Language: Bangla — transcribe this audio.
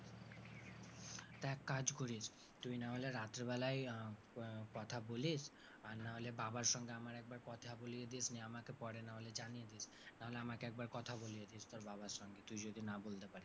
তা এক কাজ করিস তুই নাহলে রাত্রিবেলায় আহ কথা বলিস আর নাহলে বাবার সঙ্গে আমার একবার কথা বলিয়ে দিসনি আমাকে পরে নাহলে জানিয়ে দিস, নাহলে আমাকে একবার কথা বলিয়ে দিস তোর বাবার সঙ্গে, তুই যদি না বলতে পারিস।